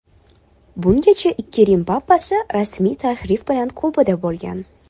Bungacha ikki Rim papasi rasmiy tashrif bilan Kubada bo‘lgan.